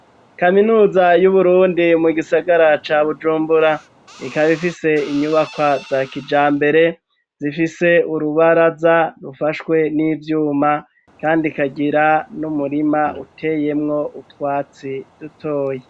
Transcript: Kaminuza y'uburundi ,mu gisagara ca bujumbura ,ikaba ifise inyubaka za kijambere, zifise urubaraza ,rufashwe n'ivyuma ,kandi kagira n'umurima uteyemwo utwatsi, dutoya.